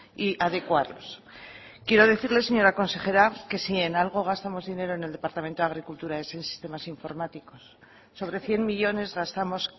y adecuarlos quiero decirle señora consejera que si en algo gastamos dinero en el departamento de agricultura es en sistemas informáticos sobre cien millónes gastamos